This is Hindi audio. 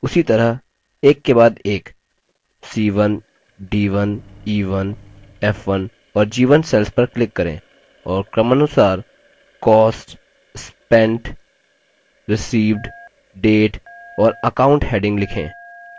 उसी तरह एक के बाद एक c1 c1 c1 c1 और c1 cells पर click करें और क्रमानुसार cost spent received date और account headings लिखें